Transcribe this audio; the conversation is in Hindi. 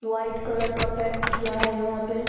वाइट कलर का पेंट किया है यहाँ पे।